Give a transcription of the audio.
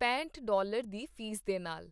ਪੈਂਹਟ dollar ਦੀ fees ਦੇ ਨਾਲ।